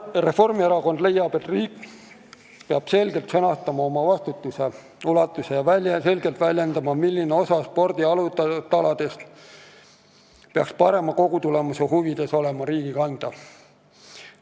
Reformierakond leiab, et riik peab selgelt sõnastama oma vastutuse ulatuse ja selgelt väljendama, milline osa spordi alustaladest peaks parema kogutulemuse huvides olema riigi kanda.